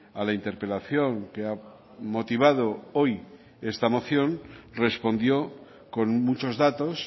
a la interpelación que ha motivado hoy esta moción respondió con muchos datos